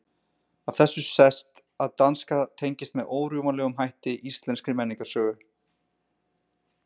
Af þessu sést að danska tengist með órjúfanlegum hætti íslenskri menningarsögu.